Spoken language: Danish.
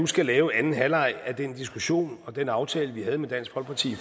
skal lave anden halvleg af den diskussion og den aftale vi havde med dansk folkeparti i